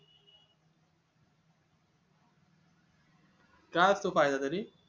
काय असतो फायदा त्यानी